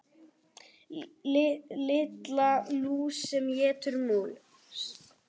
Lilla lús sem étur mús.